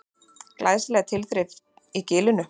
Glæsileg tilþrif í Gilinu